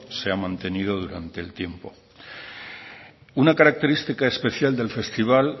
se ha mantenido durante el tiempo una característica especial del festival